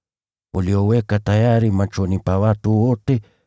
ulioweka tayari machoni pa watu wote,